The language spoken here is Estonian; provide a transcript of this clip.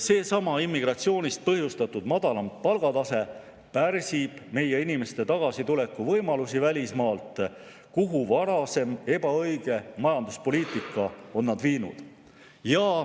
Seesama immigratsiooni põhjustatud madalam palgatase pärsib meie inimeste võimalusi tulla tagasi välismaalt, kuhu varasem ebaõige majanduspoliitika on nad viinud.